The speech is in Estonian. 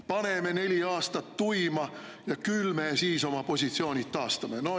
"Paneme neli aastat tuima ja küll me siis oma positsioonid taastame.